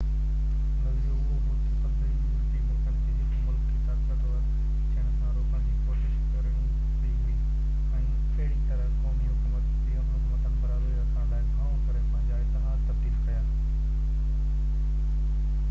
نظريو اهو هو تہ سڀني يورپي ملڪن کي هڪ ملڪ کي طاقتور ٿيڻ کان روڪڻ جي ڪوشش ڪرڻي پئي هئي ۽ اهڙي طرح قومي حڪومتن برابري رکڻ لاءِ گهڻو ڪري پنهنجا اتحاد تبديل ڪيا